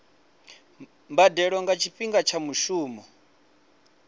mbadelo nga tshifhinga tsha mushumo